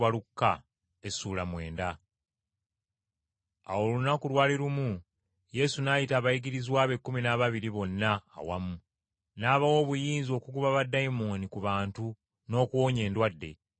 Awo olunaku lwali lumu Yesu n’ayita abayigirizwa be ekkumi n’ababiri bonna awamu, n’abawa obuyinza okugoba baddayimooni ku bantu n’okuwonya endwadde.